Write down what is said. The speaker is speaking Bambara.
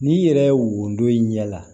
N'i yɛrɛ wodon i ɲɛ la